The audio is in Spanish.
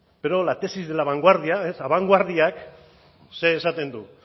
pero la tesis de la vanguardia ez abanguardiak zer esaten du